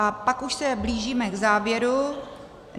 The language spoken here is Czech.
A pak už se blížíme k závěru.